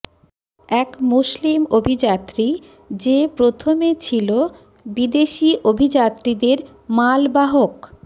এক মুসলিম অভিযাত্রী যে প্রথমে ছিল বিদেশি অভিযাত্রীদের মালবাহক